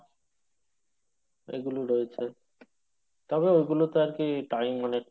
এগুলো রয়েছে তবে ওগুলোতে আরকি time অনেকটাই